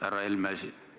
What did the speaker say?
Härra Helme!